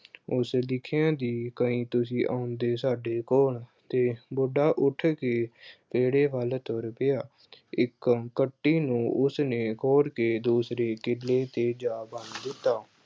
ਉਸ ਲਿਖਿਆ ਸੀ ਕਿ ਤੁਸੀਂ ਆਓਗੇ ਸਾਡੇ ਕੋਲ ਤੇ ਬੁੱਢਾ ਉੱਠ ਕੇ ਵਿਹੜੇ ਵੱਲ ਤੁਰ ਪਿਆ, ਇੱਕ ਕੱਟੀ ਨੂੰ ਉਸਨੇ ਖੋਲ ਕੇ ਦੂਸਰੇ ਕਿੱਲੇ ਤੇ ਜਾ ਬੰਨ ਦਿੱਤਾ।